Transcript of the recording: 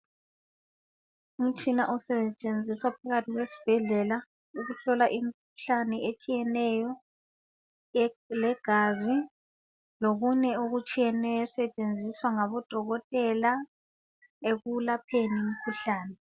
Umtshina osetshenziswa phakathi kwesibhedlela ukuhlola imikhuhlane otshiyeneyo owegazi lokunye okutshiyeneyo osetshenziswa ngabodokotela ekwelapheni imikhuhlane.